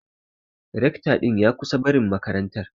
Recto din ya kusan barin makarantar.